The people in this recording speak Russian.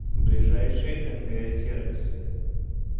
ближайший нг сервис